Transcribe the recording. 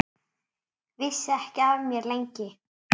Vissi ekki af mér, lengi.